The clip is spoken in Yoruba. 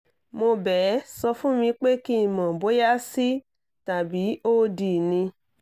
mo bẹ̀ ẹ sọ fún mi pé kí n mọ̀ bóyá c tàbí o d ni